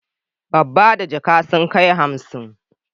Babba da jaka sun kai hansi.